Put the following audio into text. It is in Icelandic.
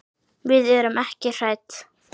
Við erum ekki hrædd.